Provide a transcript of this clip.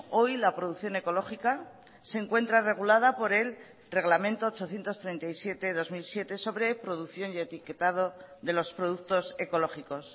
hoy la producción ecológica se encuentra regulada por el reglamento ochocientos treinta y siete barra dos mil siete sobre producción y etiquetado de los productos ecológicos